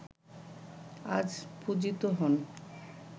আজ পূজিত হন